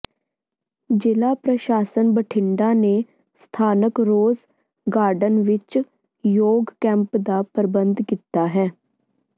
ਜ਼ਿਲ੍ਹਾ ਪ੍ਰਸ਼ਾਸਨ ਬਠਿੰਡਾ ਨੇ ਸਥਾਨਕ ਰੋਜ਼ ਗਾਰਡਨ ਵਿੱਚ ਯੋਗ ਕੈਂਪ ਦਾ ਪ੍ਰਬੰਧ ਕੀਤਾ ਹੈ